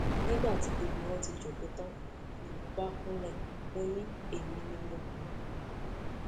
nígbà tí gbogbo wọn ti jókòó tán ni mo bá kúnlẹ mọ ni èmi ni mo pè wọn